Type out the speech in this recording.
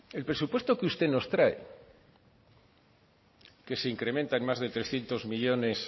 el presupuesto que usted nos trae que se incrementa en más de trescientos millónes